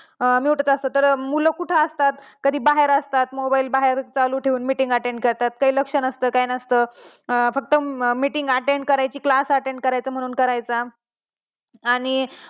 mute च असतो तर मुलं कुठं असतात? कधी बाहेर असतात, mobile बाहेर चालू ठेऊन meeting attend करतात. त्यांचं लक्ष नसत. काय नसत फक्त meeting attend करायची किंवा class attend करायचा म्हणून करायचा आणि,